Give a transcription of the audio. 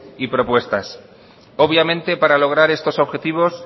y propuestas obviamente para lograr estos objetivos